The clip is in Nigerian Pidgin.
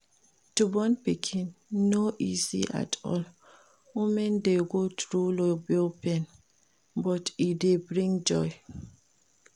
To born pikin no easy at all women de go through labour pain but e de bring joy